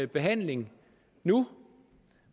behandling nu